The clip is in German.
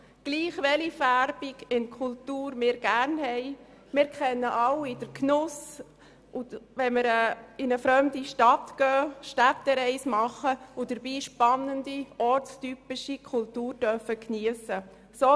Ungeachtet dessen, welche Färbungen wir in der Kultur mögen, kennen wir alle den Genuss, wenn wir beispielsweise eine Städtereise machen und dabei spannende, ortstypische Kultur geniessen dürfen.